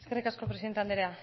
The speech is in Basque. eskerrik asko presidente andrea